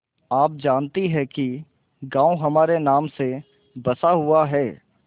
आप जानती हैं कि गॉँव हमारे नाम से बसा हुआ है